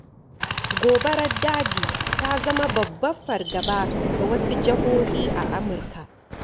Gobarar daji ta zama babbar fargaba ga wasu jihohi a Amurka.